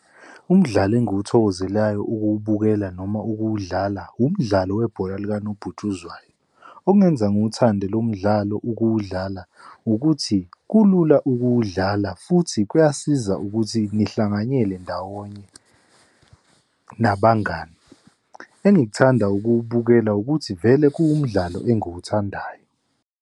Umdlalo engiwuthokozelayo ukuwubukela noma ukuwudlala, umdlalo webhola likanobhutshuzwayo. Okungenza ngiwuthande lo mdlalo ukuwudlala ukuthi kulula ukuwudlala, futhi kuyasiza ukuthi ngihlanganyele ndawonye nabangani. Engikuthanda ukuwukela ukuthi vele kuwumdlalo engiwuthandayo.